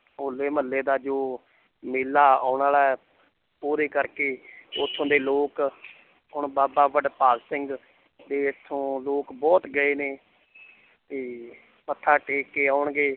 ਹੌਲੇ ਮਹੱਲੇ ਦਾ ਜੋ ਮੇਲਾ ਆਉਣ ਵਾਲਾ ਹੈ ਉਹਦੇ ਕਰਕੇ ਉੱਥੋਂ ਦੇ ਲੋਕ ਹੁਣ ਬਾਬਾ ਵਡਭਾਗ ਸਿੰਘ ਦੇ ਇੱਥੋਂ ਲੋਕ ਬਹੁਤ ਗਏ ਨੇ ਤੇ ਮੱਥਾ ਟੇਕ ਕੇ ਆਉਣਗੇ l